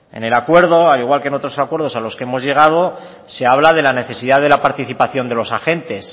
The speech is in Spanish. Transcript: en el acuerdo al igual que en otros acuerdos a los que hemos llegado se habla de la necesidad de la participación de los agentes